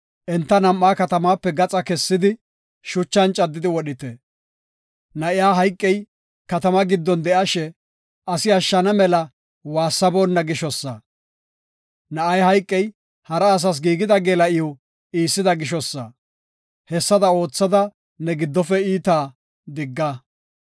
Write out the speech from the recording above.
enta nam7aa katamape gaxa kessidi, shuchan caddidi wodhite. Na7iya hayqey, katama giddon de7ashe, asi ashshana mela waassaboonna gishosa. Na7ay hayqey, hara asas giigida geela7iw iissida gishosa. Hessada oothada ne giddofe iitaa digga.